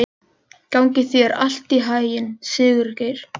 Gangi þér allt í haginn, Sigurgeir.